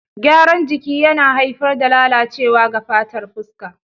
Gyaran jiki yana haifar da lalacewa ga fatar fuska.